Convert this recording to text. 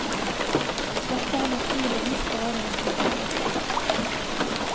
Dette er naturligvis bare en hypotese.